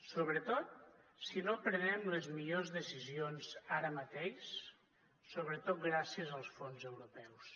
sobretot si no prenem les millors decisions ara mateix sobretot gràcies als fons europeus